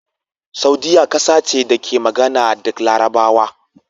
Saudiyya kasa ce da ke magana da Larabawa